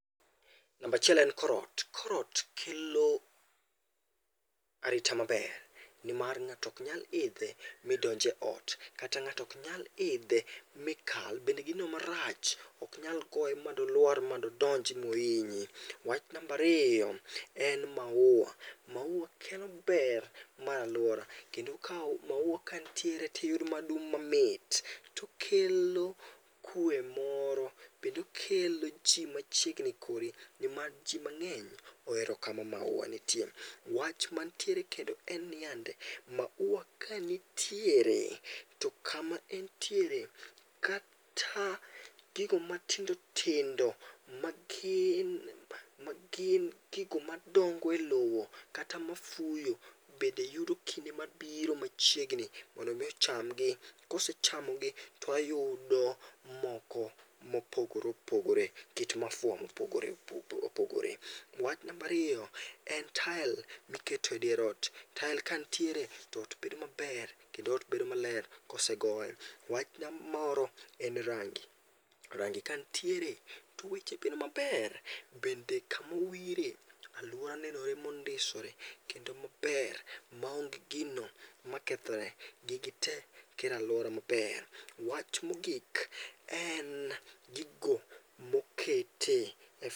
Namba achiel en kor ot. Kor ot kelo arita maber nimar ng'ato ok nyal idhe ma donj eot bende ng'ato ok nyal idhe makal, bende gino marach ok nyal goye molwar modonj mohinyi. Wach namba ariyo, em mauwa. Mauwa kelo ber mar aluora kendo mauwa kanitiere to iyudo madung' mamit to kelo kwe moro kendo okelo ji machiegni kodi niwach ji mang'eny ohero kama mauwa nitie. Wach mantiere kendo en niyande, mauwa kanitiere to kama entiere kata gigo matindo tindo magin gigo madongo elowo kata mafuyo bende yudo kinde mabiri machiegni mondo mi ocham gi, kosechamo gi to wayudo moko mopogore opogore nikech maua mopogore opogore. Wach mar ariyo en tael miketo edier ot. Tael kanitiere to ot bedo maber kendo ot bedo maler kosegoye. Wach moro en rangi. Rangi kanitiere to weche bedo maber bende kama owire, aluora neno mondisore, kendo maber maonge gino makethore, gigi te kelo aluora maber. Wach mogik en gigo mokete